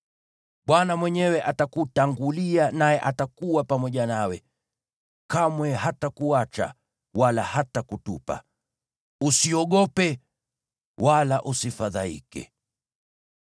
Bwana mwenyewe atakutangulia naye atakuwa pamoja nawe; kamwe hatakuacha wala hatakutupa. Usiogope, wala usifadhaike.”